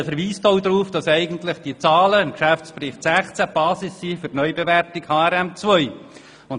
Sie verweist auch darauf, dass diese Zahlen im Geschäftsbericht 2016 eigentlich die Basis für die Neubewertung nach HRM2 bilden.